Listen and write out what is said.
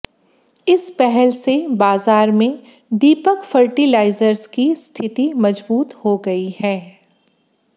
इस पहल से बाजार में दीपक फर्टिलाइजर्स की स्थिति मजबूत हो गई है